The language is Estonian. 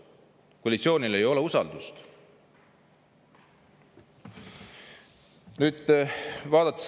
Koalitsioonil ei ole usaldust!